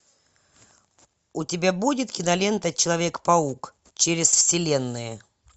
у тебя будет кинолента человек паук через вселенные